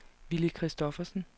Villy Christoffersen